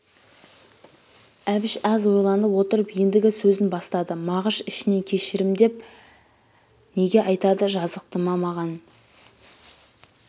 әбіш аз ойланып отырып ендігі сөзін бастады мағыш ішінен кешірім деп неге айтады жазықты ма маған